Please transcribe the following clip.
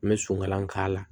N bɛ sokalan k'a la